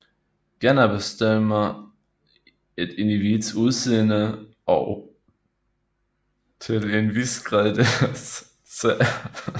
Gener bestemmer et individs udseende og til en vis grad deres adfærd